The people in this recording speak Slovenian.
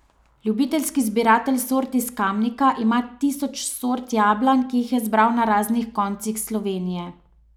Ljubiteljski zbiratelj sort iz Kamnika ima tisoč sort jablan, ki jih je zbral na raznih koncih Slovenije.